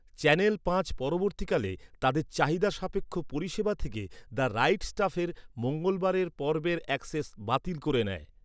Channel পাঁচ পরবর্তীকালে, তাদের চাহিদা সাপেক্ষ পরিষেবা থেকে, ‘দ্য রাইট স্টাফের’ মঙ্গলবারের পর্বের অ্যাক্সেস বাতিল করে নেয়।